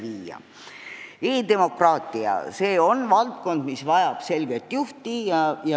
E-demokraatia on valdkond, mis vajab selget juhti.